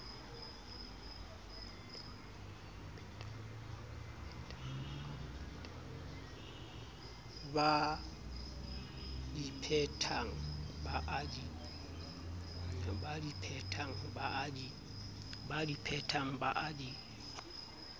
badi phetang ba a di